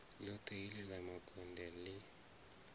ḽoṱhe heḽi ḽa makonde ḽi